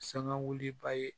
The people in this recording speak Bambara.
Sangawuli ba ye